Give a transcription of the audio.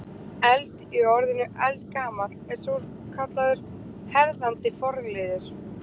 Eld- í orðinu eldgamall er svokallaður herðandi forliður.